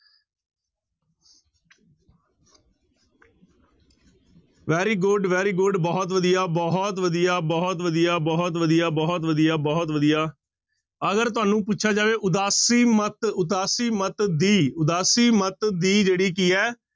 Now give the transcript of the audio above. Very good, very good ਬਹੁਤ ਵਧੀਆ, ਬਹੁਤ ਵਧੀਆ, ਬਹੁਤ ਵਧੀਆ, ਬਹੁਤ ਵਧੀਆ, ਬਹੁਤ ਵਧੀਆ, ਬਹੁਤ ਵਧੀਆ ਅਗਰ ਤੁਹਾਨੂੰ ਪੁੱਛਿਆ ਜਾਵੇ ਉਦਾਸੀ ਮੱਤ ਉਦਾਸੀ ਮੱਤ ਦੀ ਉਦਾਸੀ ਮੱਤ ਦੀ ਜਿਹੜੀ ਕੀ ਹੈ